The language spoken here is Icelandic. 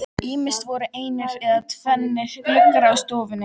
Ýmist voru einir eða tvennir gluggar á stofunni.